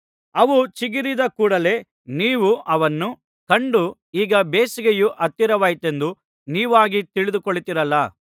ಅವು ಚಿಗುರಿದ ಕೂಡಲೆ ನೀವು ಅವನ್ನು ಕಂಡು ಈಗ ಬೇಸಿಗೆಯು ಹತ್ತಿರವಾಯಿತೆಂದು ನೀವಾಗಿ ತಿಳಿದುಕೊಳ್ಳುತ್ತೀರಲ್ಲಾ